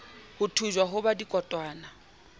ho thujwa ho ba dikotwana